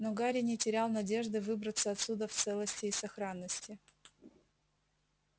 но гарри не терял надежды выбраться отсюда в целости и сохранности